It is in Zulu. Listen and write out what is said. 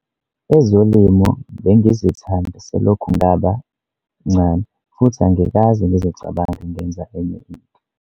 "Ezolimo bengizithanda selokhu ngaba mncane futhi angikaze ngizicabange ngenza enye into."